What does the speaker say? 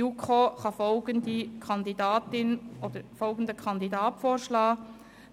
Die JuKo kann folgende Kandidatin und folgenden Kandidaten vorschlagen: